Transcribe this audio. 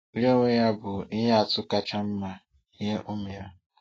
Ya onwe ya bụ ihe atụ kacha mma nye ụmụ ya